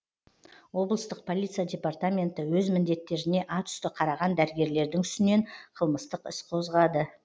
облыстық полиция департаменті өз міндеттеріне атүсті қараған дәрігерлердің үстінен қылмыстық іс қозғады